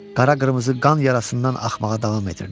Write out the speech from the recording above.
Qara-qırmızı qan yarasından axmağa davam etdirirdi.